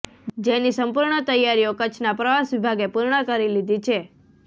જેની સંપૂર્ણ તૈયારીઓ કચ્છના પ્રવાસ વિભાગે પૂર્ણ કરી લીધી છે